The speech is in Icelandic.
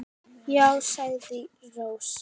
Já, sagði Rósa.